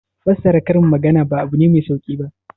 Fassara karin magana ba abu ne mai sauki ba.